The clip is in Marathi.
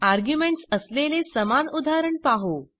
आर्ग्युमेंट्स असलेले समान उदाहरण पाहू